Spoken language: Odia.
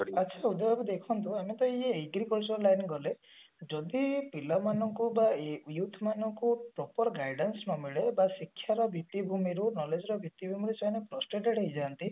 ଆଛା ଉଦୟ ବାବୁ ଦେଖନ୍ତୁ ଆମେ ତ ଇଏ lab ରେ ଗଲେ ଯଦି ପିଲାମାନଙ୍କୁ ବା youth ମାନଙ୍କୁ proper guidance ନ ମିଳୁ ବା ଶିକ୍ଷାର ଭିତ୍ତିଭୂମିରୁ knowledge ର ଭିତ୍ତିଭୂମିରୁ ସେମାନେ fostered ହେଇଯାନ୍ତି